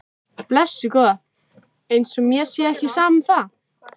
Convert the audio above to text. Blessuð góða. eins og mér sé ekki sama um það!